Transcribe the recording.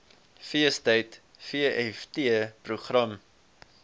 feestyd vft program